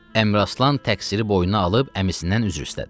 Əmiraslan təqsiri boynuna alıb əmisindən üzr istədi.